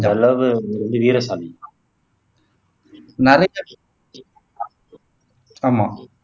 நிறைய